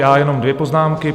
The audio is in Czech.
Já jen dvě poznámky.